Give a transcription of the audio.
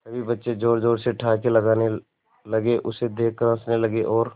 सभी बच्चे जोर जोर से ठहाके लगाने लगे उसे देख कर हंसने लगे और